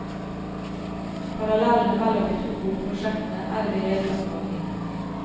Parallellene mellom de to bokprosjektene er i det hele tatt mange.